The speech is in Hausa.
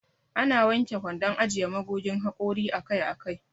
Ana wanke kwandon ajiye magogin haƙori akai akai.